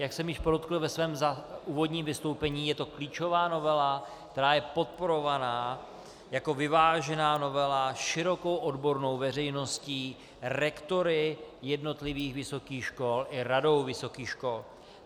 Jak jsem již podotkl ve svém úvodním vystoupení, je to klíčová novela, která je podporovaná jako vyvážená novela širokou odbornou veřejností, rektory jednotlivých vysokých škol i Radou vysokých škol.